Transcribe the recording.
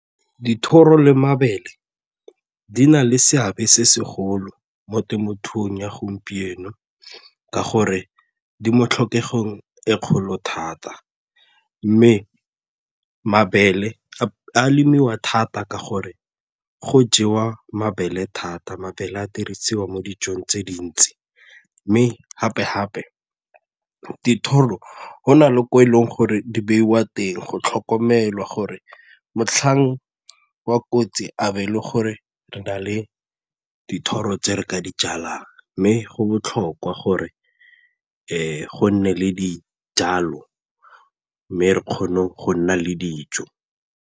Dithoro le mabele di na le seabe se segolo mo temothuong ya gompieno ka gore di mo tlhokegong e kgolo thata mme mabele a lemiwa thata ka gore go jewa mabele thata, mabele a dirisiwa mo dijong tse dintsi mme gape-gape dithoro go na le ko e leng gore di beiwa teng go tlhokomelwa gore motlhang kotsi abo e le gore re na le dithoro tse re ka di jalang mme go botlhokwa gore go nne le dijalo mme re kgone go nna le dijo.